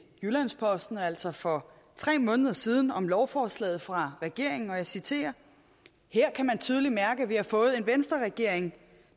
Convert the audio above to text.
jyllands posten altså for tre måneder siden om lovforslaget fra regeringen og jeg citerer her kan man tydeligt mærke at vi har fået en venstreregering